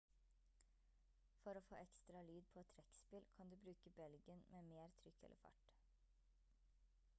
for å få ekstra lyd på et trekkspill kan du bruke belgen med mer trykk eller fart